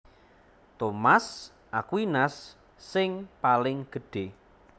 Thomas Aquinas sing paling gedhé